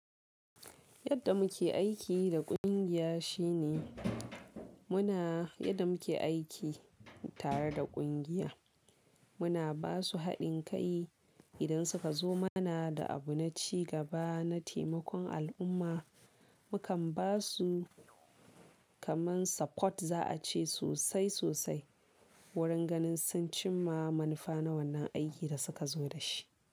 Yadda muke aiki da kungiya shine muna yadda muke aiki tare da kungiya. Muna basu haɗin kai idan suka zo mana da abu na cigaba, na taimakon al'umma. Mu kan basu kaman support za a ce sosai sosai wurin ganin sun cimma manufa na wannan aikin da suka zo da shi.